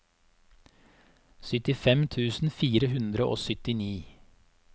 syttifem tusen fire hundre og syttini